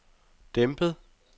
dæmpet